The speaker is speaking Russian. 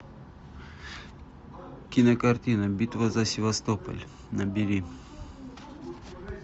кинокартина битва за севастополь набери